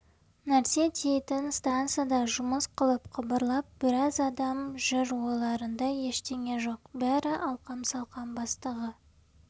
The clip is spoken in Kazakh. нәрсе тиейтін станцияда жұмыс қылып қыбырлап біраз адам жүр ойларында ештеңе жоқ бәрі алқам-салқам бастығы